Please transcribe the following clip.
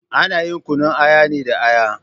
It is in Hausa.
Ana yin kunun aya ne da Aya